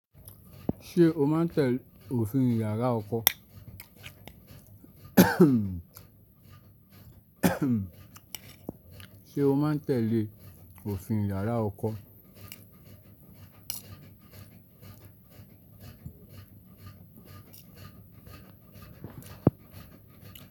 Ṣé o máa ń tẹ òfin yàrá ọkọ? Ṣé o máa ń tẹle òfin yàrá ọkọ?